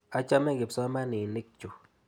Achame kipsomaninik chu.